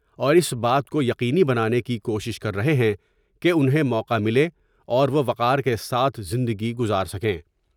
اور اس بات کو یقینی بنانے کی کوشش کر رہے ہیں کہ انہیں موقع ملے اور وہ وقار کے ساتھ زندگی گذار سکے ۔